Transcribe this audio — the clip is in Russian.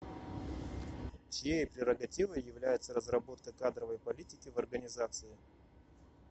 чьей прерогативой является разработка кадровой политики в организации